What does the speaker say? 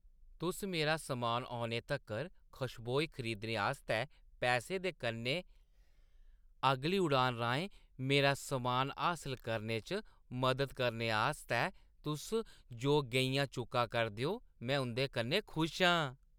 तुस मेरा समान औने तक्कर खशबोईं खरीदने आस्तै पैसें दे कन्नै अगली उड़ान राहें मेरा समान हासल करने च मदद करने आस्तै तुस जो गेईयां चुक्का करदे ओ, में उंʼदे कन्नै खुश आं ।